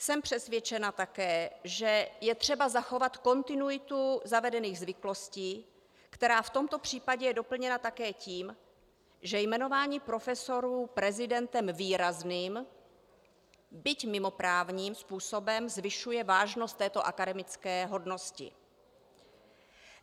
Jsem přesvědčena také, že je třeba zachovat kontinuitu zavedených zvyklostí, která v tomto případě je doplněna také tím, že jmenování profesorů prezidentem výrazným, byť mimoprávním způsobem zvyšuje vážnost této akademické hodnosti.